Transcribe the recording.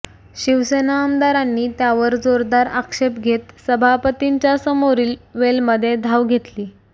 शिवसेना आमदारांनी त्यावर जोरदार आक्षेप घेत सभापतींच्यासमोरील वेलमध्ये धाव घेतली